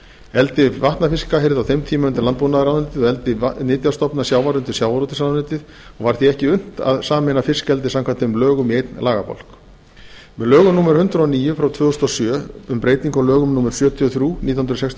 eldi vatnafiska heyrði á þeim tíma undir landbúnaðarráðuneytið og eldi nytjastofna sjávar undir sjávarútvegsráðuneytið og var því ekki unnt að sameina fiskeldi samkvæmt þeim lögum í einn lagabálk með lögum númer hundrað og níu tvö þúsund og sjö um breytingu á lögum númer sjötíu og þrjú nítján hundruð sextíu og